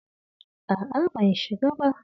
A'a ban shiga ba.